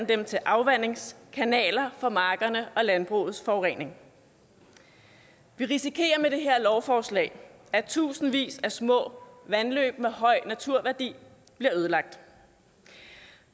dem til afvandingskanaler for markerne og landbrugets forurening vi risikerer med det her lovforslag at tusindvis af små vandløb med høj naturværdi bliver ødelagt